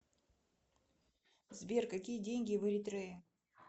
сбер какие деньги в эритрее